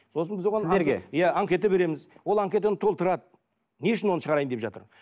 сосын біз оған сіздерге иә анкета береміз ол анкетаны толтырады не үшін оны шығарайын деп жатыр